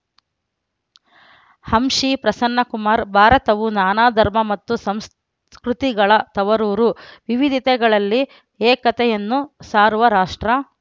ಅಂಶಿ ಪ್ರಸನ್ನಕುಮಾರ್‌ ಭಾರತವು ನಾನಾ ಧರ್ಮ ಮತ್ತು ಸಂಸ್ಕೃತಿಗಳ ತವರೂರು ವಿವಿಧತೆಗಳಲ್ಲಿ ಏಕತೆಯನ್ನು ಸಾರುವ ರಾಷ್ಟ್ರ